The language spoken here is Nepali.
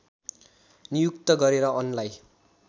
नियुक्त गरेर अनलाई